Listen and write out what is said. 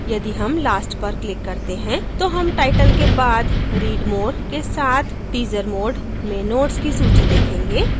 यदि हम last पर click करते हैं तो हम title के बाद read more के साथ teaser mode में nodes की सूची देखेंगे